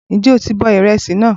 Ǹjẹ́ o ti bọ ìrẹsì náà?